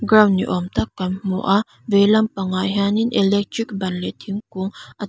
ground ni awm tak kan hmu a veilam pangah hianin electric ban leh thingkung a--